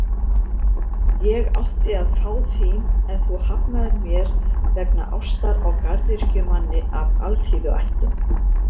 Ég átti að fá þín, en þú hafnaðir mér vegna ástar á garðyrkjumanni af alþýðuættum.